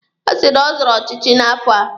Ọ sị na ọ zọrọ ọchịchị n'afọ a.